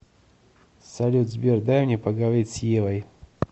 салют сбер дай мне поговорить с евой